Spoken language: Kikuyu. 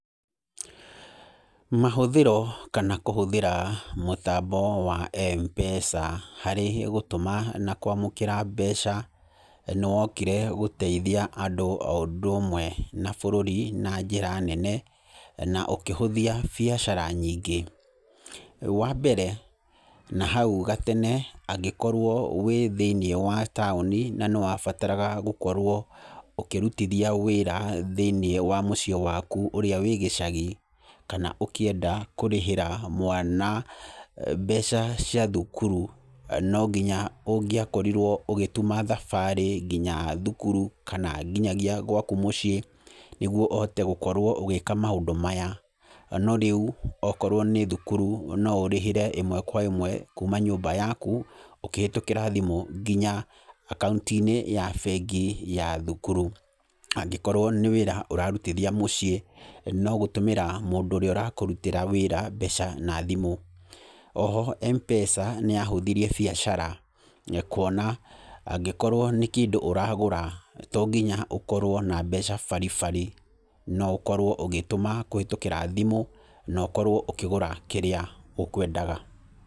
Mahũthĩro kana kũhũthĩra mũtambo wa M-Pesa harĩ gũtũma na kwamũkĩra mbeca nĩ wokire gũteithia andũ o ũndũ ũmwe na bũrũri na njĩra nene, na ũkĩhũthia biacara nyingĩ. Wa mbere, nahau gatene, angĩkorwo wĩ thĩiniĩ wa taũni na nĩ wabataraga gũkorwo ũkĩrutithia wĩra thĩiniĩ wa mũciĩ waku ũrĩa wĩ gĩcagi, kana ũkĩenda kũrĩhĩra mwana mbeca cia thukuru, no nginya ũngĩakorirwo ũgĩtuma thabarĩ nginya thukuru, kana nginyagia gwaku mũciĩ, nĩguo ũhote gũkorwo ũgĩka maũndũ maya. No rĩu, okorwo nĩ thukuru no ũrĩhĩre ĩmwe kwa ĩmwe kuuma nyũmba yaku, ũkĩhetũkĩra thimũ nginya akaunti-inĩ ya bengi ya thukuru. Angĩkorwo nĩ wĩra ũrarutithia mũciĩ, no gũtũmĩra mũndũ ũrĩa ũrakũrutĩra wĩra mbeca na thimũ. O ho, M-Pesa nĩ yahũthirie biacara. Nĩ kuona angĩkorwo nĩ kĩndũ ũragũra, to nginya ũkorwo na mbeca baribari. No ũkorwo ũgĩtũma kũhĩtũkĩra thimũ, na ũkorwo ũkĩgũra kĩrĩa ũkwendaga.